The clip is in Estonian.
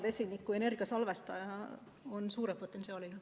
Vesinikuenergia salvestaja on suure potentsiaaliga.